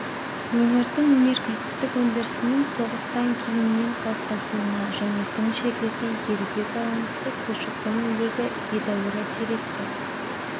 өңірдің өнеркәсіптік өндірісінің соғыстан кейіннен қалыптасуына және тың жерлерді игеруге байланысты көші-қон легі едәуір әсер етті